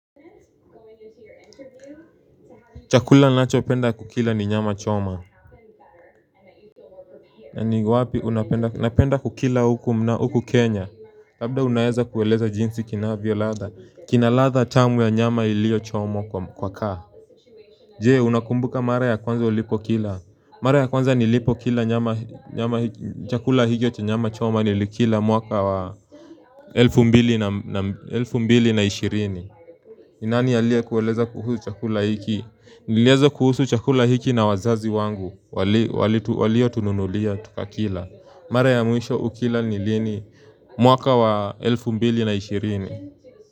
Chakula nacho penda kukila ni nyama choma na ni wapi unapenda kukila huku Kenya Labda unayeza kueleza jinsi kinavyo ladha kina ladha tamu ya nyama ilio choma kwa kaa Jee unakumbuka mara ya kwanza ulipo kila Mara ya kwanza nilipo kila nyama chakula hicho cha nyama choma nilikila mwaka wa elfu mbili naam elfu mbili na ishirini ni nani aliiye kueleza kuhusu chakula hiki Nileza kuhusu chakula hiki na wazazi wangu walitu walio tununulia tukakila Mara ya mwisho ukila nilini mwaka wa elfu mbili na ishirini.